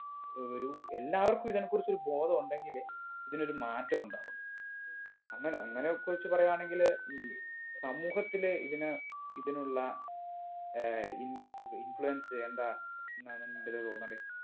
ഒരു എല്ലാവർക്കും ഇതിനെ കുറിച്ച് ഒരു ബോധം ഉണ്ടെങ്കില് ഇതിനൊരു മാറ്റം ഉണ്ടാവും അങ്ങനെ അങ്ങനെ ഒക്കെ വച്ച് പറയാണെങ്കില് ഈ സമൂഹത്തില് ഇതിന് ഇതിനുള്ള ഏർ ഈ influence എന്താന്ന് എന്നാണ് എന്റൊരു തോന്നല്